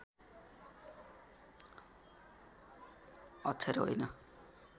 अक्षर होइन